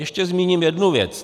Ještě zmíním jednu věci.